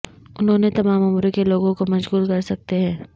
انہوں نے تمام عمر کے لوگوں کو مشغول کر سکتے ہیں